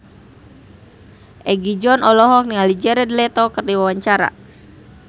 Egi John olohok ningali Jared Leto keur diwawancara